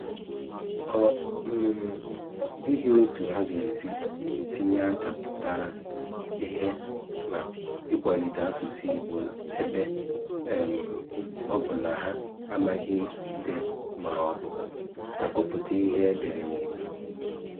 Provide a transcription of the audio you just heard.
Ọ um dịghị otu ha ga-esi tinye aka pụtara ihe n’ịkwalite asụ̀sụ́ Ìgbò, ebe um ọ bụ na ha amaghị ídé ma ọ bụ àgụpụ̀tà ihe e dèré n’Ìgbò.